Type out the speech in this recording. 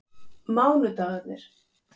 mánudagarnir